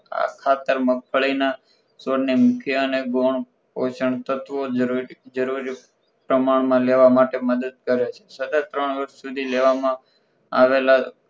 ખાતર મગફળીના છોડ ને મુખ્ય અને ગૌણ પોષણ તત્વો જરૂરી જરૂરી પ્રમાણમાં લેવા માટે મદદ કરે છે. સતત ત્રણ વર્ષ સુધી લેવામાં આવેલા